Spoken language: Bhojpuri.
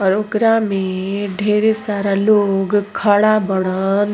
और ओकरा में ढेरे सारा लोग खड़ा बाड़न।